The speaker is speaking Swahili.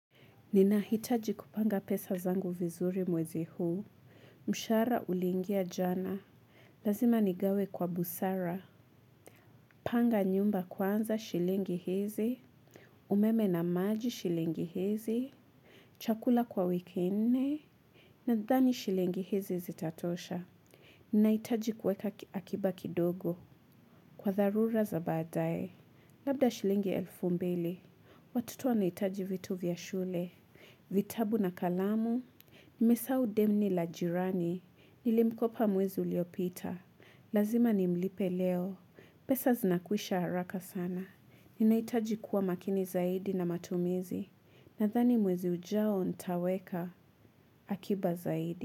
Ninahitaji kupanga pesa zangu vizuri mwezi huu. Mshahara uliingia jana. Lazima nigawe kwa busara. Panga nyumba kwanza shilingi hizi. Umeme na maji shilingi hizi chakula kwa wiki nne. Nadhani shilingi hizi zitatosha. Ninahitaji kuweka akiba kidogo. Kwa dharura za baadae. Labda shilingi elfu mbili. Watoto wanahitaji vitu vya shule. Vitabu na kalamu, nimesahau deni la jirani, nilimkopa mwezi uliopita, lazima nimlipe leo, pesa zinakwisha haraka sana, ninahitaji kuwa makini zaidi na matumizi, nadhani mwezi ujao ntaweka akiba zaidi.